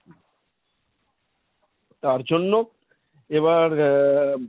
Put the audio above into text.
তার জন্য এবার আহ